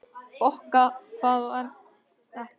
Bokka, hvað er það?